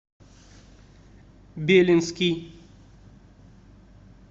белинский